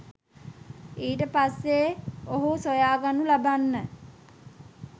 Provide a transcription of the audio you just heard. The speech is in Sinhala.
ඊට පස්සෙ ඔහු සොයාගනු ලබන්න